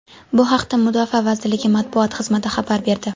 Bu haqda Mudofaa vazirligi matbuot xizmat xabar berdi .